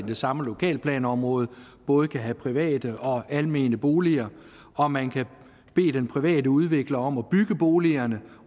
det samme lokalplanområde både kan have private og almene boliger og man kan bede den private udvikler om at bygge boligerne